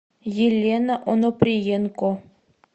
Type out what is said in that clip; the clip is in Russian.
елена оноприенко